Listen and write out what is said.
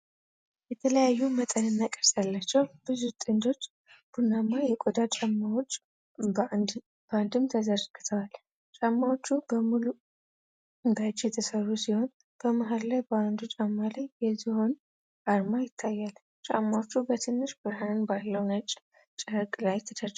የተለያዩ መጠንና ቅርጽ ያላቸው ብዙ ጥንዶች ቡናማ የቆዳ ጫማዎች በአግድም ተዘርግተዋል። ጫማዎቹ በሙሉ በእጅ የተሠሩ ሲሆኑ፤ በመሃል ላይ በአንዱ ጫማ ላይ የዝሆን አርማ ይታያል። ጫማዎቹ በትንሽ ብርሃን ባለው ነጭ ጨርቅ ላይ ተደርድረዋል።